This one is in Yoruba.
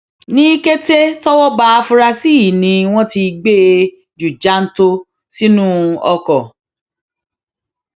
ní kété tọwọ ba afurasí yìí ni wọn ti gbé e ju jàǹtò sínú ọkọ